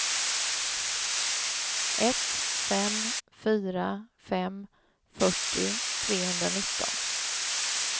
ett fem fyra fem fyrtio trehundranitton